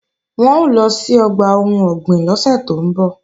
Wọ́n ń lọ sí ọgbà ohun ọ̀gbìn lọ́sẹ̀ tó ń bọ̀